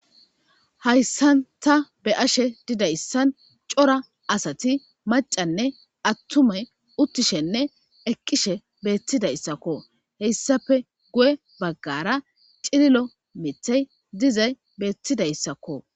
hayssan ta be ashe didayssan cora asati macanne attume uttishenne eqqishe beettidayssakko heyssafe guye baggara cililo mitey dizay beettidayssakko